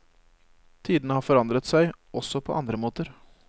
Tidene har forandret seg også på andre måter.